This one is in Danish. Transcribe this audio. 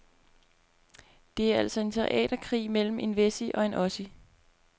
Det er altså en teaterkrig mellem en wessie og en ossie.